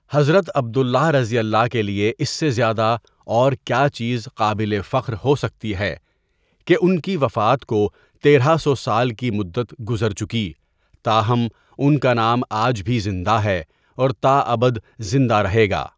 حضرت عبد اللہ کے لیے اس سے زیادہ اور کیا چیزقابل فخر ہوسکتی ہے کہ ان کی وفات کو تیرہ سو سال کی مدت گذرچکی، تاہم ان کا نام آج بھی زندہ ہے اور تا ابد زندہ رہیگا.